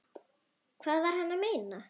Hvað var hann að meina?